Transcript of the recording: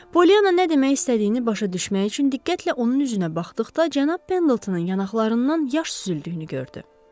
Polyanna nə demək istədiyini başa düşmək üçün diqqətlə onun üzünə baxdıqda, cənab Pendletonın yanaqlarından yaş süzüldüyünü gördü.